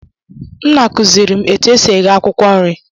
Nna kuziri m etu esi eghe akwukwo nri